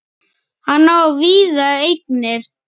Hann á víða eignir.